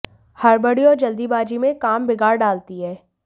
हड़बड़ी और जल्दबाजी में ये काम बिगाड़ डालती हैं